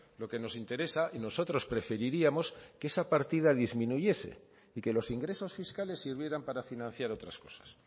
lo que nos interesa y nosotros preferiríamos que esa partida disminuyese y que los ingresos fiscales sirvieran para financiar otras cosas